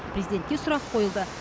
президентке сұрақ қойылды